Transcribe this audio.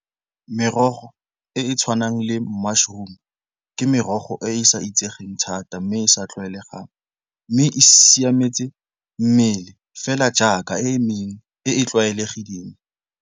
Merogo e e tshwanang le mushroom ke merogo e e sa itsegeng thata mme e sa tlwaelegang, mme e siametse mmele fela jaaka e mengwe e e tlwaelegileng.